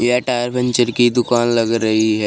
यह tyre puncture की दुकान लग रही है।